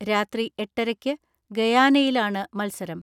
രാത്രി എട്ടരയ്ക്ക് ഗയാനയിലാണ് മത്സരം.